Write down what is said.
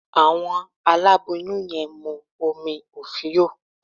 Àwọn àláboyún yẹn mú omí ofío